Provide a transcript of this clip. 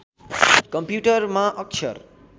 कम्प्युटरमा अक्षर